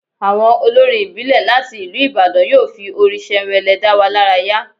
Àwọn olórin ìbílẹ̀ láti ìlú Ìbàdàn yóò fi orin ṣẹnwẹlẹ dá wa lára yá